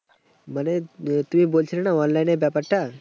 মানে তুমি বলছিলে না online এর ব্যাপারটা।